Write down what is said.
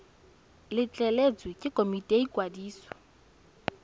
letleletswe ke komiti ya ikwadiso